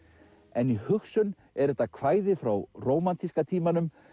en í hugsun er þetta kvæði frá rómantíska tímanum